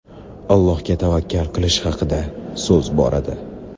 Allohga tavakkal qilish haqida so‘z boradi.